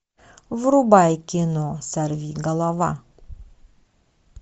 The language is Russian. врубай кино сорви голова